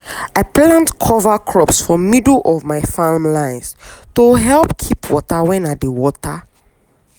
i plant cover crops for middle of my farm lines to help keep water when i dey water.